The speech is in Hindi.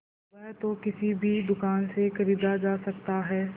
वह तो किसी भी दुकान से खरीदा जा सकता है